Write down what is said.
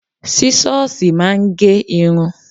Sísọ́sìì máa ń gé irun